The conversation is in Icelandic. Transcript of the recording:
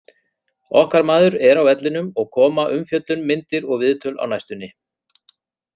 Okkar maður er á vellinum og koma umfjöllun, myndir og viðtöl á næstunni.